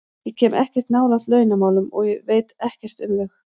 Ég kem ekkert nálægt launamálum og veit ekkert um þau.